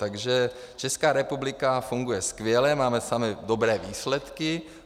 Takže Česká republika funguje skvěle, máme samé dobré výsledky.